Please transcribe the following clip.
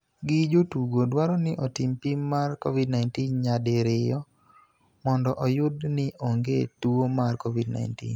gi jotugo dwaro ni otim pim mar Covid-19 nyadi riyo mondo oyud ni onge tuo mar Covid-19